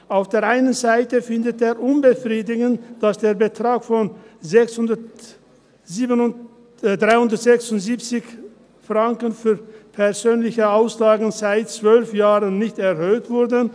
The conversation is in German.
Auf der einen Seite finde er es unbefriedigend, dass der Betrag von 367 Franken für persönliche Auslagen seit 12 Jahren nicht erhöht wurde.